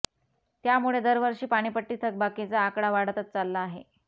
त्यामुळे दरवर्षी पाणीपट्टी थकबाकी चा आकडा वाढतच चालला आहे